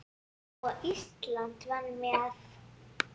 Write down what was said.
Og Ísland var með.